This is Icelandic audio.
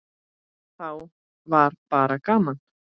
Þá var bara gaman.